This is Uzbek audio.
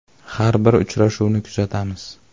Har bir uchrashuvni kuzatamiz.